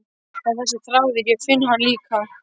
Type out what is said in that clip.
Það er þessi þráður, ég finn hann líka